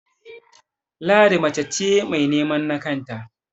Ladi mace ce mai nemen na kanta